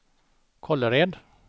Kållered